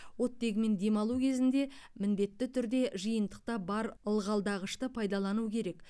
оттегімен демалу кезінде міндетті түрде жиынтықта бар ылғалдағышты пайдалану керек